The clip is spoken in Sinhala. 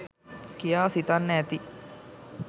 කියා සිතන්න ඇති.